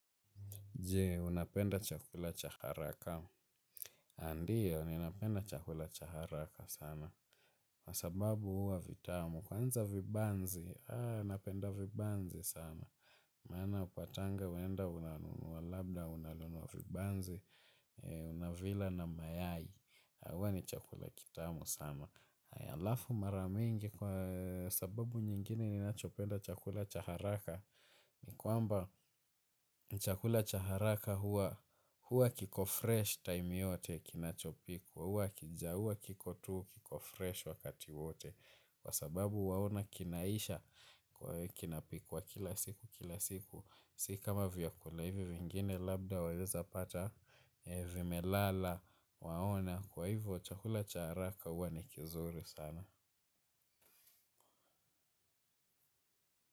Je, unapenda chakula cha haraka. Aah ndiyo, ninapenda chakula cha haraka sana. Kwa sababu huwa vitamu. Kwanza vibanzi, napenda vibanzi sana. Maana hapa tanga, unaenda, unanunua vibanzi, unavila na mayai. Huwa ni chakula kitamu sana. Hayalafu mara mingi kwa sababu nyingine, unapenda chakula cha haraka. Ni kwamba chakula cha haraka huwa kiko fresh time yote kinachopikwa huwa kijauwa kiko tuu kiko fresh wakati wote kwa sababu waona kinaisha kwa kinapikwa kila siku kila siku sikama vyakula hivi vingine labda wawezapata vimelala waona kwa hivyo chakula cha haraka hua ni kizuri sana.